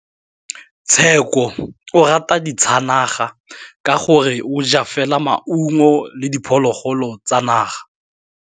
Tshekô o rata ditsanaga ka gore o ja fela maungo le diphologolo tsa naga.